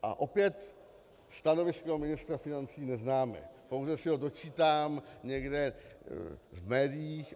A opět stanovisko ministra financí neznáme, pouze se ho dočítám někde v médiích.